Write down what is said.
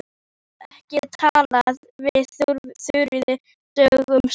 Ég hef ekki talað við Þuríði dögum saman.